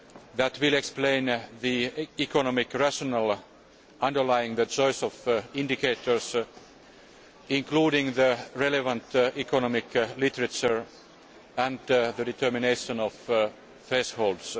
that will explain the economic rationale underlying the choice of indicators, including the relevant economic literature and the determination of thresholds.